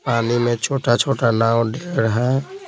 पानी में छोटा-छोटा नाव दे रहा है।